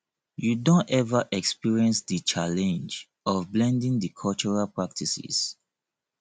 you don ever experience di challenge of blending di cultural practices